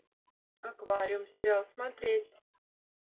аквариум сериал смотреть